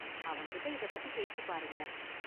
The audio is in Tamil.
அவன்கிட்ட​ இத பத்தி பேசி பாருங்க​.